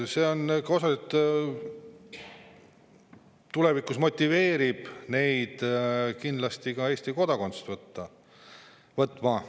See tulevikus motiveerib neid kindlasti ka Eesti kodakondsust võtma.